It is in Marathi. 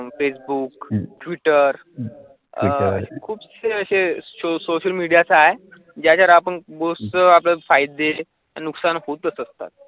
फेसबुक, ट्विटर अह खूपचे असे सोशल मीडिया आहे ज्या जरा आपण बहोतसे आपल्ये फयदे नुक्सान